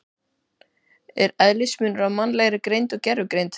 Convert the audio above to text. Er eðlismunur á mannlegri greind og gervigreind?